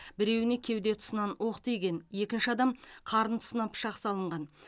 біреуіне кеуде тұсынан оқ тиген екінші адам қарын тұсынан пышақ салынған